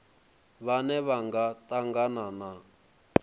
vhane vha nga tangana na